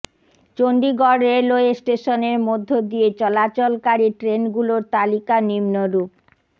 Chandigarh railway স্টেশনের মধ্য দিয়ে চলাচলকারী ট্রেনগুলোর তালিকা নিন্মরূপ